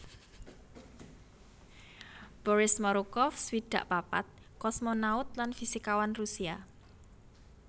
Boris Morukov swidak papat kosmonaut lan fisikawan Rusia